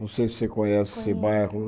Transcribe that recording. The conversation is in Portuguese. Não sei se você conhece esse bairro.